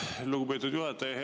Aitäh, lugupeetud juhataja!